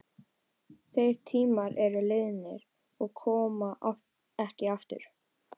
Þeir tímar eru liðnir og koma ekki aftur.